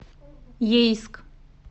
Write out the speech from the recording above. ейск